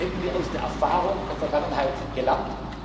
vermeiden. Dann hätten wir aus der Erfahrung der Vergangenheit